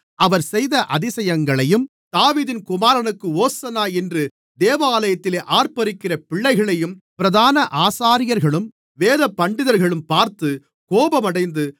அவர் செய்த அதிசயங்களையும் தாவீதின் குமாரனுக்கு ஓசன்னா என்று தேவாலயத்திலே ஆர்ப்பரிக்கிற பிள்ளைகளையும் பிரதான ஆசாரியர்களும் வேதபண்டிதர்களும் பார்த்து கோபமடைந்து